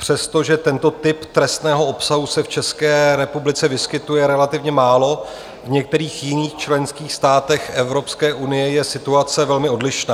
Přestože tento typ trestného obsahu se v České republice vyskytuje relativně málo, v některých jiných členských státech Evropské unie je situace velmi odlišná.